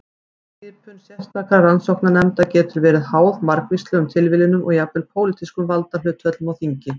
Skipun sérstakra rannsóknarnefnda getur verið háð margvíslegum tilviljunum og jafnvel pólitískum valdahlutföllum á þingi.